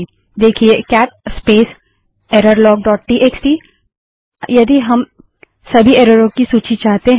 देखिए cat space error log dot TXT cat space error log dot TXT लेकिन क्या यदि हम सभी एररों की सूची चाहते हैं